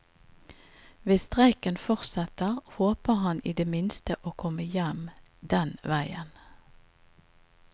Hvis streiken fortsetter, håper han i det minste å komme hjem den veien.